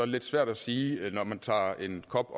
lidt svært at sige når man tager en kop